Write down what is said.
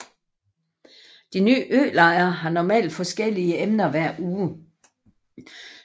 De ni ølejre har normalt forskellige emner hver uge